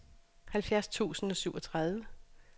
halvfjerds tusind og syvogtredive